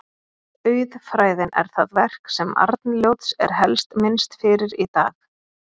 Auðfræðin er það verk sem Arnljóts er helst minnst fyrir í dag.